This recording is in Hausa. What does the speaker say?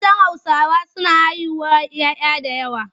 Matan Hausawa suna haihuwar 'ya 'ya da yawa.